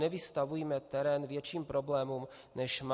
Nevystavujme terén větším problémům, než má.